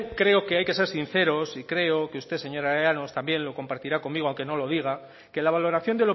creo que hay ser sinceros y creo que usted señora llanos también lo compartirá conmigo aunque no lo diga que la valoración